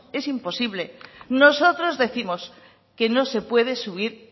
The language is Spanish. es imposible nosotros décimos que no se puede subir